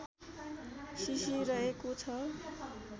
cc रहेको छ